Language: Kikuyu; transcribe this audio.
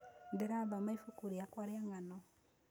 Ndĩrathoma ibuku rĩakwa rĩa ngano